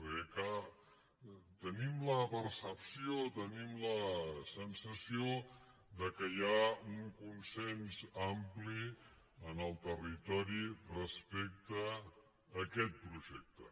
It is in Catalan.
perquè és clar tenim la percepció tenim la sensació que hi ha un consens ampli en el territori respecte a aquest projecte